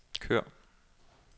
kør